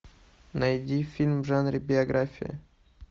найди фильм в жанре биография